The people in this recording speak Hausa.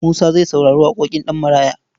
Musa zai saurari waƙoƙin Ɗanmaraya.